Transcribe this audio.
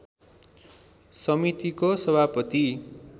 समितिको सभापति